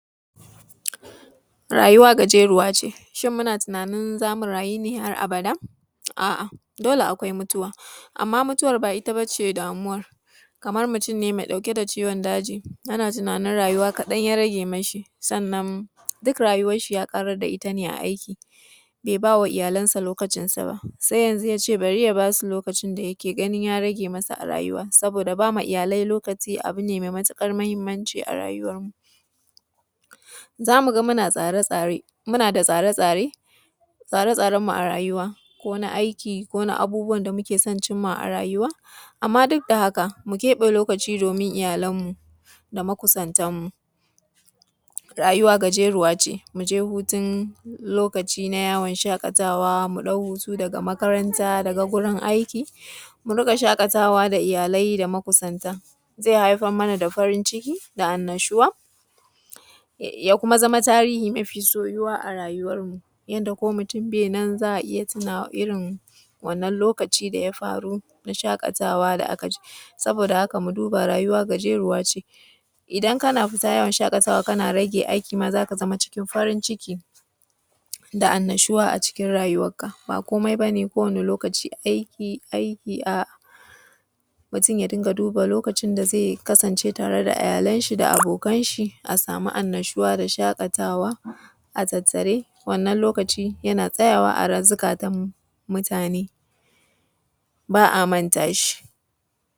Rayuwa gajeruwa ce. Shin muna tunanin za mu rayu ne har abada? A’a, dole akwai mutuwa, amma mutuwar ba ita ba ce damuwar, kamar mutun ne me ɗauke da ciwon daji, ana tunanin rayuwa kaɗan ya rage mashi. Sannan, duk rayuwarshi ya ƙarad da ita ne a aiki, be ba wa iyalansa lokacinsa ba, se yanzu ya ce bari ya ba su lokacin da yake ganin ya rage masa a rayuwa. Saboda ba ma iyalai lokaci abu ne me matiƙar mahimmanci a rayuwarmu. Za mu ga muna tsare-tsare, muna da tsare-tsare, tsare-tsarenmu a rayuwa ko na aiki ko na abubuwan da muke son cim ma a rayuwa. Amma duk da haka, mu keƃe lokaci domin iyalanmu da makusantanmu. Rayuwa gajeruwa ce, mu je hutun lokaci na yawon shaƙatawa, mu ɗau hutu daga makaranta daga gurin aiki, mu riƙa shaƙatawa da iyalai da makusanta, ze haifar mana da farin ciki da annashuwa, ya kuma zama tarihi mafi soyuwa a rayuwarmu, yanda ko mutun be nan, za a iya tunawa; irin wannan lokaci da ya faru na shaƙatawa da aka je. Saboda haka, mu duba rayuwa gajeruwa ce, idan kana fita yawon shaƙatawa, kana rage aiki ma za ka zama cikin farin ciki da annashuwa a cikin rayuwarka. Ba komai ba ne kowane lokaci aiki, aiki a mutun ya dinga duba lokacin da ze kasancewa tare da iyalanshi da abokanshi, a sami annashuwa da shaƙatawa a tsatstsare, wannan lokaci yana tsayawa a ra; zikatam mutane, ba a manta shi.